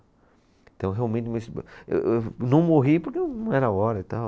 Então, realmente, eu eu não morri porque não era a hora e tal.